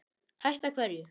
Hætta hverju?